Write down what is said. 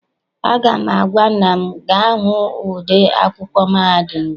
Aga m agwa nnwa m, gaa hụ ode akwụkwọ mahadum gị!